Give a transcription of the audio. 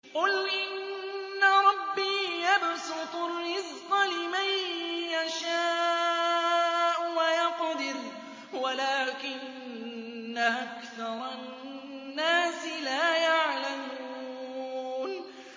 قُلْ إِنَّ رَبِّي يَبْسُطُ الرِّزْقَ لِمَن يَشَاءُ وَيَقْدِرُ وَلَٰكِنَّ أَكْثَرَ النَّاسِ لَا يَعْلَمُونَ